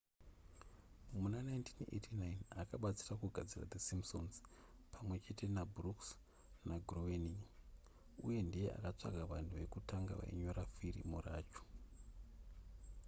muna 1989 akabatsira kugadzira the simpsons pamwe chete nabrooks nagroening uye ndiye akatsvaga vanhu vekutanga vainyora firimu racho